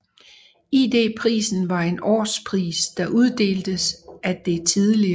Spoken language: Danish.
ID Prisen var en årspris der uddeltes af det tidl